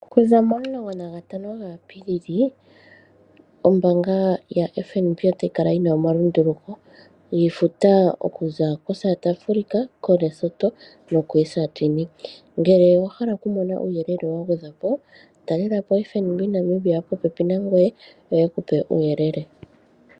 Okuza 15 Apilili ombaanga ya FNB otayi kala yina omalunduluko giifuta okuza koSouth Africa, koLesotho no koEswatini ngele owahala mona uuyelele wagwedhwa po talelapo ombaanga yaFNB Namibia popepi nangwe yo yeku pe uuyelele.